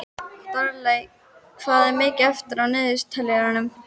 Daley, hvað er mikið eftir af niðurteljaranum?